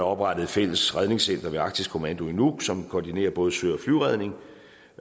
oprettet et fælles redningscenter ved arktisk kommando i nuuk som koordinerer både sø